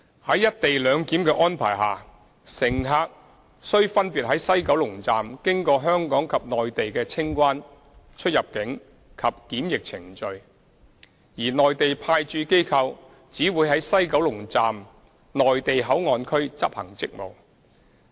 在"一地兩檢"安排下，乘客須分別在西九龍站經過香港及內地的清關、出入境及檢疫程序，而內地派駐機構只會在西九龍站"內地口岸區"執行職務。